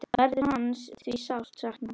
Verður hans því sárt saknað.